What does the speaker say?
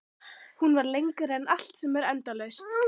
Hún var lengri en allt sem er endalaust.